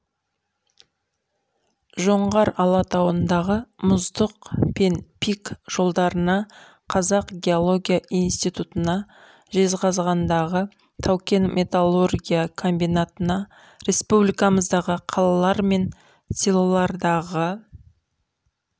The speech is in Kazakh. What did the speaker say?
жоңғар алатауындағы мұздық пен пик жоталарына қазақ геология институтына жезқазғандағы таукен металлургия комбинатына республикамыздағы қалалар мен селолардағы